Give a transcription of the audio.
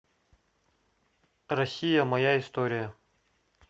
россия моя история